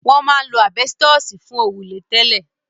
Wọ́n máa ń lo àbẹ́stọ̀sì fún òrùlé tẹ́lẹ̀.